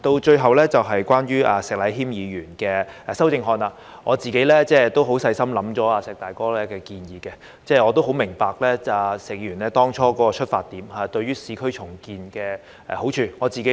最後，關於石禮謙議員的修正案，我自己都細心想過"石大哥"的建議，亦很明白石議員當初是以市區重建的好處作為出發點。